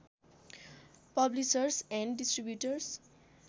publishers and distributors